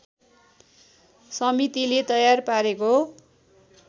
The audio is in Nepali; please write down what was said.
समितिले तयार पारेको